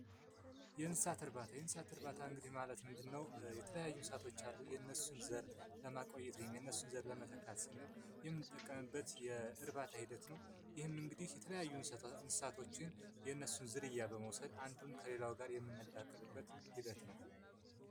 የእንስሳት እርባታ :የእንስሳት እርባታ ማለት እንግዲ ምንድን ነዉ የተለያዩ እንስሳወች አሉ የነሱን ዘር ለማቆየት የነሱን ዘር ለመተካት ስንል የምንጠቀምበት የእርባታ ሂደት ነዉ። ይኸም እንግዲ የተለያዩ እንስሳቶችን የነሱን ዝርያ በመዉሰድ ከሌላዉ ጋር የምናዳቅልበት ሂደት ነዉ